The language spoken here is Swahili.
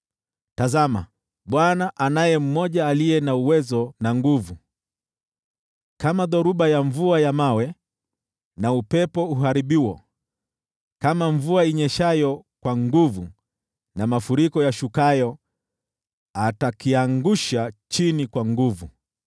Tazama, Bwana anaye mmoja aliye na uwezo na nguvu. Kama dhoruba ya mvua ya mawe na upepo uharibuo, kama mvua inyeshayo kwa nguvu na mafuriko yashukayo, atakiangusha chini kwa nguvu.